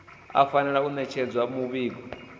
u fanela u ṋetshedza muvhigo